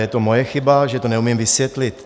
Je to moje chyba, že to neumím vysvětlit.